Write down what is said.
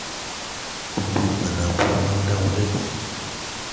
gbogbo ìgbà ni ma ń dá wọn lẹ́bi